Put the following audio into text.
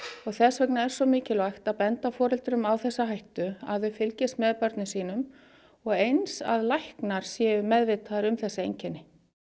og þess vegna er svo mikilvægt að benda foreldrum á þessa hættu að þau fylgist með börnum sínum og eins að læknar séu meðvitaðir um þessi einkenni